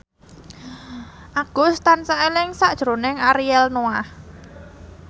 Agus tansah eling sakjroning Ariel Noah